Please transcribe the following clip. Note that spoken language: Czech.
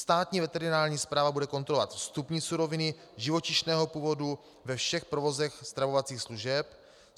Státní veterinární správa bude kontrolovat vstupní suroviny živočišného původu ve všech provozech stravovacích služeb.